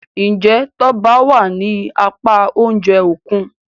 Njé Toba wá ní apá oúnjẹ Òkun?